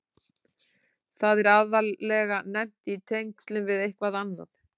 Það er aðallega nefnt í tengslum við eitthvað annað.